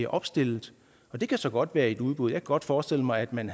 opstillet det kan så godt være i et udbud jeg kan godt forestille mig at man